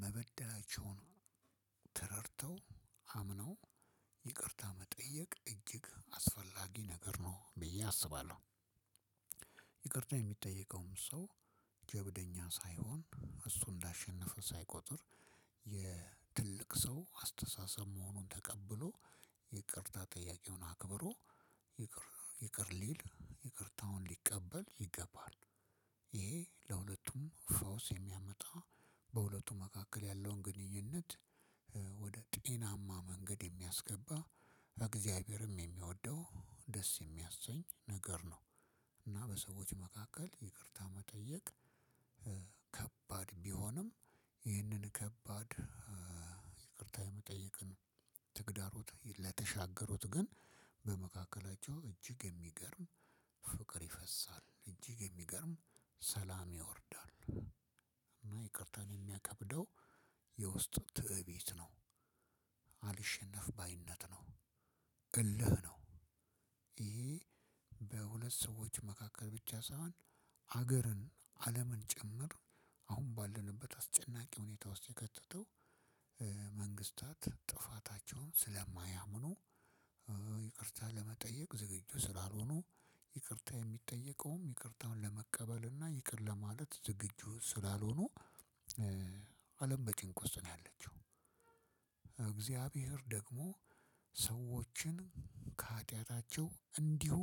መበዳላቸውን ተረድተው አምነው ይቅርታ መጠየቅ እጅግ አስፈላጊ ነገር ነው ብዬ አስባለሁ። ይቅርታ የሚጠየቀውም ሰው ጀብደኛ ሳይሆን እሱ እንዳሸነፈ ሳይቆጥር የትልቅ ሰው አስተሳሰብ መሆኑን ተቀብሎ ይቅርታ ጠያቂውን አክብሮ ይቅር ይቅር ሊል ይቅርታውን ሊቀበል ይገባል። ይሄ ለሁለቱም ፈውስ የሚያመጣ በሁለቱም መካከል ያለውን ግንኙነት ወደጤናማ መንገድ የሚያስገባ እግዛቤርም የሚወደው ደስ ሚያሰኝ ነገር ነው። እና በሰዎች መካከል ይቅርታ መጠየቅ ከባድ ቢሆንም ይህንን ከባድ ይቅርታ የመጠየቅንተግዳሮት ለተሻገሩት ቀን በመካከላቸው እጅግ የሚገርም ፍቅር ይፈሳል እንጂ የሚገርም ሰላም ያወርዳል። እና ይቅርታን የሚያከብደው የውስጥ ትእቢት ነው። አልሸነፍ ባይነት ነው። እልህ ነው። ይሄ በሁለት ሰዎች መካከል ብቻ ሳይሆን ሀገርን አለምን ጭምር አሁን ባለንበት አስጨናቂ ሁኔታ ውስጥ የከተተው መንግስታት ጥፋታቸውን ስለማያምኑ ይቅርታ ለመጠየቅ ዝግጁ ስላልሆኑ። ይቅርታ የሚጠየቀውም ይቅርታን ለመቀበል እና ይቅር ለማለት ዝግጁ ስላልሆኑ አለም በጭንቅ ውስጥ ነው ያለችው። እግዛብሄር ደግሞ ሰዎችን ከሀጢያታቸው እንዲሁ